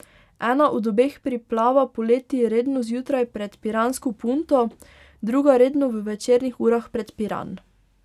Ena od obeh priplava poleti redno zjutraj pred piransko Punto, druga redno v večernih urah pred Piran.